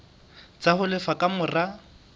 tsa ho lefa ka mora